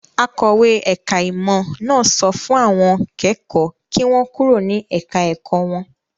Akọ̀wé ẹ̀ka-ìmọ̀ náà sọ fún àwọn kẹ́kọ̀ọ́ kí wọ́n kúrò ní ẹ̀ka-ẹ̀kọ́ wọn.